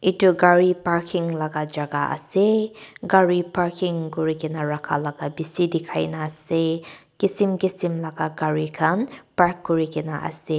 itu gari parking laga jaga ase gari parking kurigena rakha bishi dikhai na ase kisim kisim laga gari khan park kurigena ase.